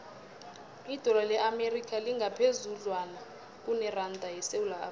idola le amerika lingaphezudlwana kuneranda yesewula afrika